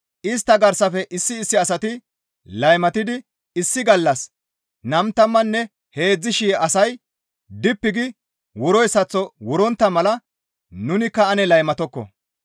Istta garsafe issi issi asati laymatidi issi gallas 23,000 asay dippi gi wuroyssaththo wurontta mala nunikka ane laymatokko.